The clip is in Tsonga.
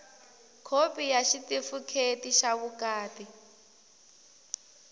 khopi ya xitifikheti xa vukati